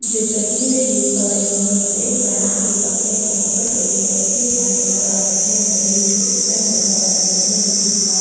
जैसा की मैं देख पा रही हूँ यहाँ एक फैन की दुकान है जहाँ पर कई सारे रखे फैन नजर आ रहे हैं बड़े-छोटी फैन नजर आ रहे हैं जो की ब्लैक --